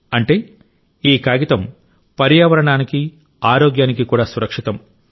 అంటే ఈ కాగితం పర్యావరణానికి ఆరోగ్యానికి కూడా సురక్షితం